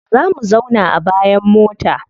Za mu zauna a bayan mota.